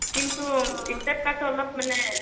কিন্তু step cut টো অলপ মানে